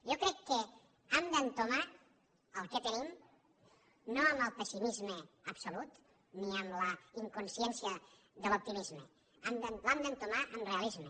jo crec que hem d’entomar el que tenim no amb el pessimisme absolut ni amb la inconsciència de l’optimisme l’hem d’entomar amb realisme